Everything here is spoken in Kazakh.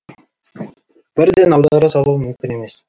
бірден аудара салу мүмкін емес